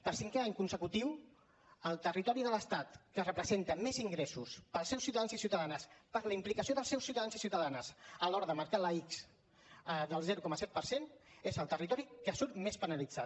per cinquè any consecutiu el territori de l’estat que representa més ingressos pels seus ciutadans i ciutadanes per la implicació dels seus ciutadans i ciutadanes a l’hora de marcar la ics del zero coma set per cent és el territori que surt més penalitzat